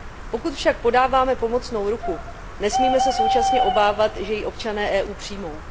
Pokud však podáváme pomocnou ruku, nesmíme se současně obávat, že ji občané EU přijmou.